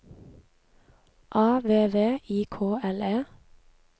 A V V I K L E